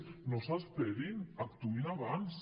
no s’esperin actuïn abans